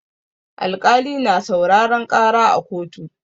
Alƙali na sauraran ƙara a koto.